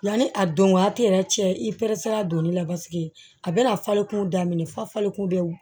Yanni a don waati yɛrɛ cɛ i peresera donni la paseke a bɛna falen kun daminɛ falenku de